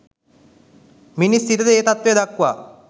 මිනිස් සිතද ඒ තත්ත්වය දක්වා